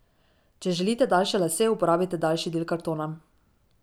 Če želite daljše lase, uporabite daljši del kartona.